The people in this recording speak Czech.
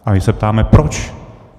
A my se ptáme proč.